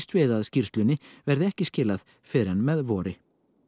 við að skýrslunni verði ekki skilað fyrr en með vori